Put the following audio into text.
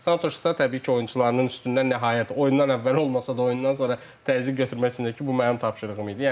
Santuşsa təbii ki, oyunçularının üstündən nəhayət oyundan əvvəl olmasa da, oyundan sonra təzyiq götürmək üçün ki, bu mənim tapşırığım idi.